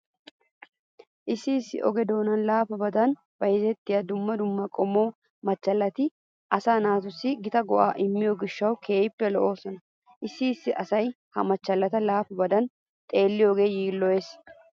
Issi issi oge doonan laafabadab bayzettiya dumma dumma qommo machchallati asaa naatussi gita go"aa immiyo gishshawu keehippe lo"oosona. Issi issi asay ha machchallata laafabadan xeelliyogee yiilloyees.